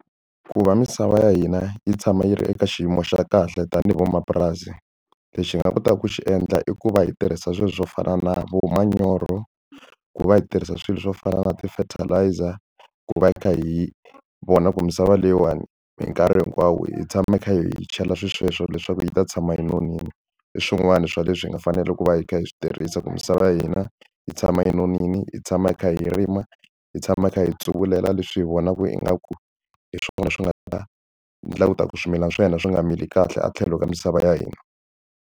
Ku va misava ya hina yi tshama yi ri eka xiyimo xa kahle tanihi vamapurasi lexi hi nga kotaka ku xi endla i ku va hi tirhisa swilo swo fana na vo manyoro ku va hi tirhisa swilo swo fana na ti-fertilizer ku va hi kha hi vona ku misava leyiwani hi nkarhi hinkwawo hi tshama hi kha hi chela swisweswo leswaku hi ta tshama yi nonile i swin'wana swa leswi hi nga fanela ku va hi kha hi swi tirhisa ku misava ya hina yi tshama yi nonile hi tshama hi kha hi rima hi tshama hi kha hi tsuvulela leswi hi vonaka ingaku hi swona swi nga ta ni langutaka swimilana swa hina swi nga mili kahle a tlhelo ka misava ya hina.